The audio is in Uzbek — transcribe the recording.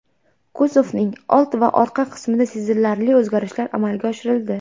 Kuzovning old va orqa qismida sezilarli o‘zgarishlar amalga oshirildi.